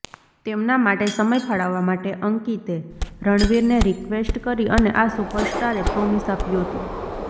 તેમના માટે સમય ફાળવવા માટે અંકિતે રણવીરને રિક્વેસ્ટ કરી અને આ સુપરસ્ટારે પ્રોમિસ આપ્યું હતું